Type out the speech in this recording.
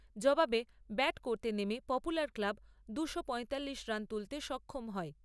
জবাবে ব্যাট করতে নেমে পপুলার ক্লাব দুশো পয়তাল্লিশ রান তুলতে সক্ষম হয়।